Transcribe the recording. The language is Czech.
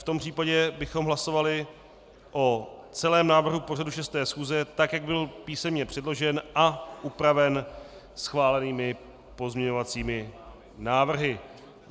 V tom případě bychom hlasovali o celém návrhu pořadu 6. schůze, tak jak byl písemně předložen a upraven schválenými pozměňovacími návrhy.